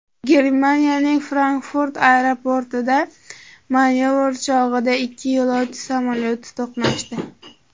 Germaniyaning Frankfurt aeroportida manyovr chog‘ida ikki yo‘lovchi samolyoti to‘qnashdi.